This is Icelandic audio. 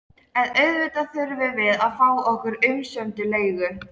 En auðvitað þurftum við að fá okkar umsömdu leigu.